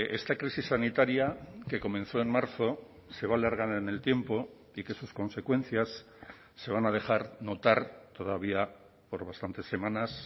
esta crisis sanitaria que comenzó en marzo se va alargar en el tiempo y que sus consecuencias se van a dejar notar todavía por bastantes semanas